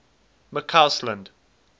mccausland